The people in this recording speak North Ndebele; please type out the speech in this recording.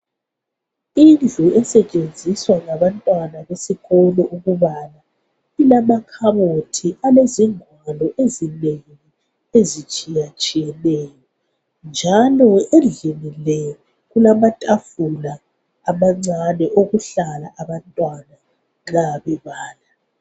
Indlu esetshenziswa ngabantwana besikolo ukubala ilamakhabothi alezingwalo ezinengi ezitshiya tshiyeneyo njalo endlini le kulamatafula amancane okuhlala abantwana nxa bebala.